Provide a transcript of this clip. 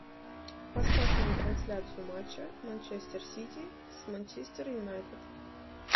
поставь нам трансляцию матча манчестер сити с манчестер юнайтед